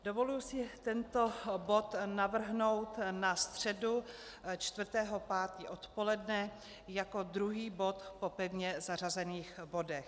Dovoluji si tento bod navrhnout na středu 4. 5. odpoledne jako druhý bod po pevně zařazených bodech.